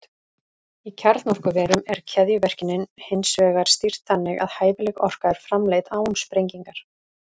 Í kjarnorkuverum er keðjuverkuninni hins vegar stýrt þannig að hæfileg orka er framleidd án sprengingar.